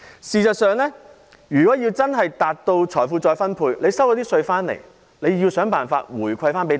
事實上，如要真正達到財富再分配，政府收到稅款後便應設法回饋大家。